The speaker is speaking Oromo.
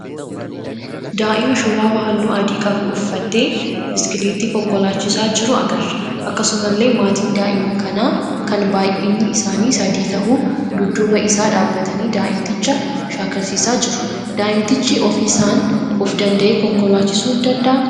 Daa'ima shurraaba halluu adii qabu uffatee biskileettii konkolaachisaa jiru agarra. Akkasumallee maatiin daa'ima kanaa kan baayyinni isaanii sadii tahu dudduba isaa dhaabbatanii daa'imticha shaakalsiisaa jiru. Daa'imtichi ofiisaan of dandahee konkolaachisuu dandahaa?